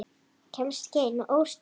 Kemst ekki ein og óstudd!